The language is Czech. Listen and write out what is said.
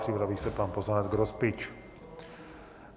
Připraví se pan poslanec Grospič.